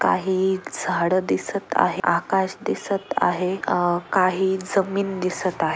काही झाडं दिसत आहे आकाश दिसत आहे अं काही जमीत दिसत आहे.